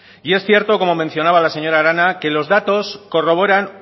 y es cierto como mencionaba la señora arana que los datos corroboran